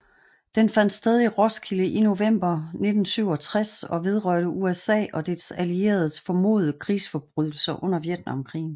Den fandt sted i Roskilde i november 1967 og vedrørte USA og dets allieredes formodede krigsforbrydelser under Vietnamkrigen